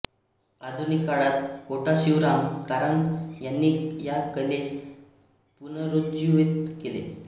आधुनिक काळात कोटा शिवराम कारंत यांनी या कलेस पुनरुज्जीवित केले